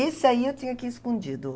Esse aí eu tinha que ir escondido.